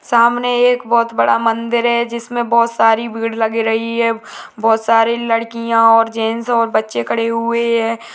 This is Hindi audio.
सामने एक बहोत बड़ा मन्दिर है जिसमे बहोत सारी भीड़ लग रही है बहोत सरे लड़कियां और जैंट्स और बच्चे खड़े हुए हैं।